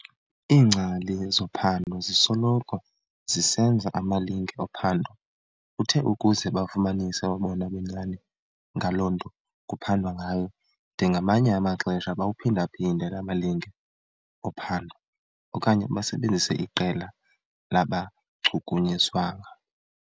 Iingcali zophando zisoloko zisenza amalinge ophando utheukuze bafumanise obona bunyani ngaloo nto kuphandwa ngayo, de ngamanye amaxesha bawaphinda-phinde laa malinge ophando okanye basebenzise iqela labangachukunyiswanga.